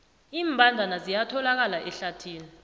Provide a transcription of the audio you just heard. iimbandana ziyatholakala ehlathini